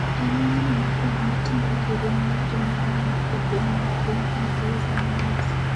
En meli mokwongo ma ting’o ndege ma ng’ato nyalo ng’ado e piny ma piny Ingresa noloso.